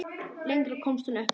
Lengra komst hún ekki.